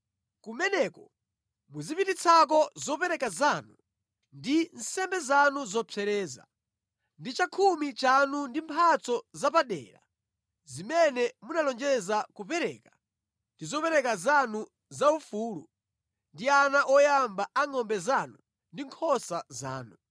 Kumeneko muzipititsako zopereka zanu ndi nsembe zanu zopsereza, ndi chakhumi chanu ndi mphatso zapadera zimene munalonjeza kupereka ndi zopereka zanu zaufulu ndi ana oyamba a ngʼombe zanu ndi nkhosa zanu.